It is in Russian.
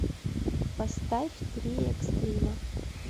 поставь три экстрима